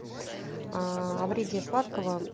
о вреде сладкого